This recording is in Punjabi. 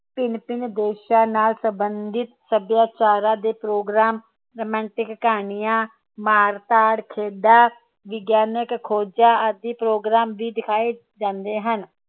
ਭਿਨ ਭਿਨ ਦੇਸ਼ਾਂ ਨਾਲ ਸੰਬੰਧਿਤ ਸੱਭਿਆਚਾਰਾਂ ਦੇ program romantic ਕਹਾਣੀਆਂ ਮਾਰ ਧਾੜ ਖੇਡਾਂ ਵਿਗਿਆਨਿਕ ਖੋਜਾਂ ਆਦਿ program ਵੀ ਦਿਖਾਏ ਜਾਂਦੇ ਹਨ